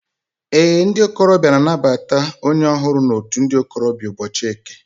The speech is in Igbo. Ee, ndi okorobia na-anabata onye ohuru na out ndi okorobia n'ubochi Eke